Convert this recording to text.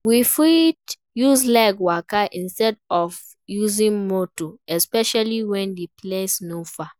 We fit use leg waka instead of using motor especially when di place no far